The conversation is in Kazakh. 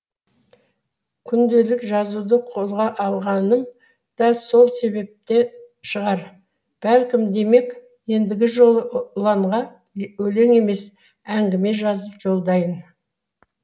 күнделік жазуды қолға алғаным да сол себептен шығар бәлкім демек ендігі жолы ұланға өлең емес әңгіме жазып жолдайын